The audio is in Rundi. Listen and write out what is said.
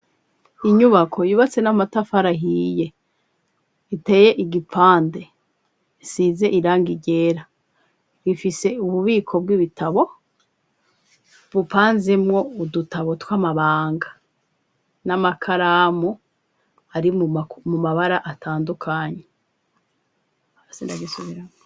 Inyubako yubatse n'amatafari ahiye iteye igipande isize irangi ryera rifise ububiko bw'ibitabo bupanzemwo udutabo tw'amabanga n'amakaramu ari mu mabara atandukanye.